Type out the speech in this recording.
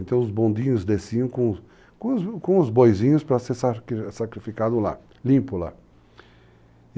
Então, os bondinhos desciam com os boizinhos para ser sacrificado lá, limpo lá.